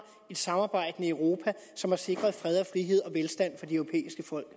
et samarbejdende europa som har sikret fred og frihed og velstand for de europæiske folk